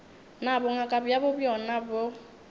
na bongaka bjabo bjona bo